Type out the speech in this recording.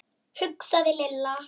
hugsaði Lilla.